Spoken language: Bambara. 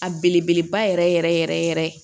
A belebeleba yɛrɛ yɛrɛ yɛrɛ yɛrɛ